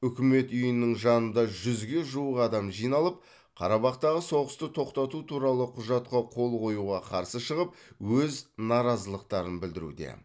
үкімет үйінің жанында жүзге жуық адам жиналып қарабақтағы соғысты тоқтату туралы құжатқа қол қоюға қарсы шығып өз наразылықтарын білдіруде